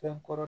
Fɛn kɔrɔ